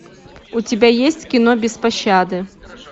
у тебя есть кино без пощады